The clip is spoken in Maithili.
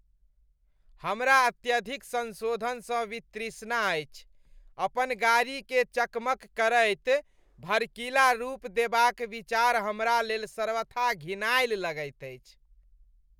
हमरा अत्यधिक संशोधन स वितृष्णा अछि। अपन गाड़ीकेँ चकमक करैत , भड़कीला रूप देबाक विचार हमरा लेल सर्वथा घिनायल लगैत अछि।